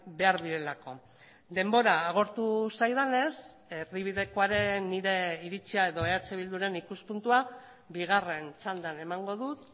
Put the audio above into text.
behar direlako denbora agortu zaidanez erdibidekoaren nire iritzia edo eh bilduren ikuspuntua bigarren txandan emango dut